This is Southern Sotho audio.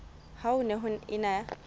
ha ho ne ho ena